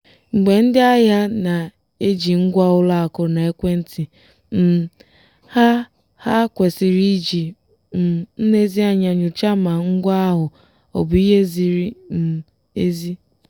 mgbe ndị ahịa na-eji ngwa ụlọakụ na ekwentị um ha ha kwesịrị iji um nlezianya nyochaa ma ngwa ahụ ọbụ ihe ziri um ezi.